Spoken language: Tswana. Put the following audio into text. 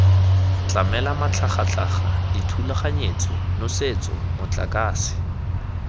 tlamela matlhagatlhaga dithulaganyetso nosetso motlakase